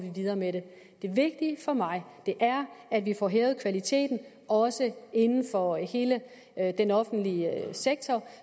videre med det det vigtige for mig er at vi får hævet kvaliteten også inden for hele den offentlige sektor